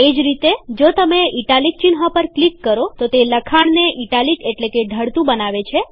એ જ રીતે જો તમે ઇટાલિક ચિહ્ન પર ક્લિક કરો તો તે લખાણને ઇટાલિક એટલેકે ઢળતું બનાવે છે